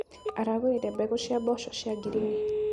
Aragũrire mbegũ cia mboco cia ngirini.